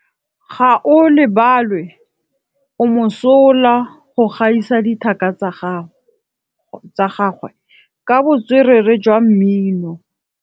Gaolebalwe o mosola go gaisa dithaka tsa gagwe ka botswerere jwa mmino. Ke bone mosola wa go buisa pele o kwala tlhatlhobô.